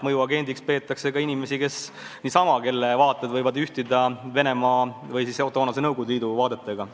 Mõjuagendiks peetakse ka inimesi, kelle vaated lihtsalt langevad kokku Venemaa või siis kunagise Nõukogude Liidu vaadetega.